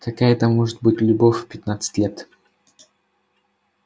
какая там может быть любовь в пятнадцать лет